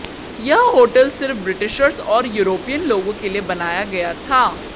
यह होटल सिर्फ ब्रिटिशर्स और यूरोपीयन लोगों के लिए बनाया गया था